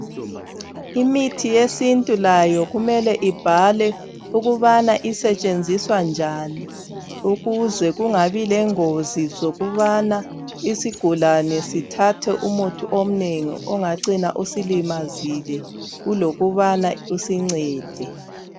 Imithi yesintu layo kumele ibhalwe ukuthi isetshenziswa njani ukuze kungabi lephutha lokubana isigulani sithathe umuthi omnengi ongacina usilimazile kulokuba usingcede